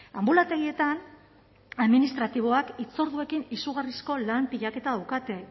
anbulategietan administratiboek hitzorduekin izugarrizko lan pilaketa daukate